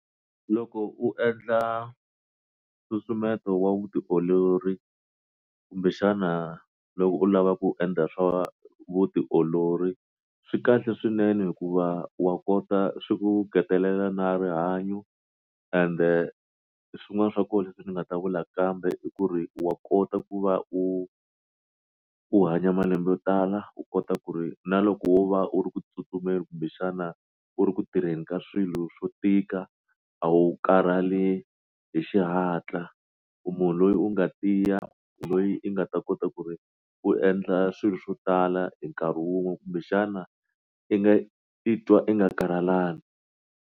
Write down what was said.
Loko u endla nsusumeto wa vutiolori kumbexana loko u lava ku endla swa vutiolori swi kahle swinene hikuva wa kota swi ku ngetelela na rihanyo ende swin'wana swa kona leswi ndzi nga ta vula kambe i ku ri wa kota ku va u u hanya malembe yo tala u kota ku ri na loko wo va u ri ku tsutsumeni kumbe xana u ri ku tirheni ka swilo swo tika a wu karhale hi xihatla munhu loyi u nga tiya loyi i nga ta kota ku ri u endla swilo swo tala hi nkarhi wun'we kumbe xana i nga i titwa i nga karhalanga.